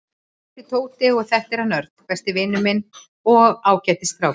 Ég heiti Tóti og þetta er hann Örn, besti vinur minn og ágætis strákur.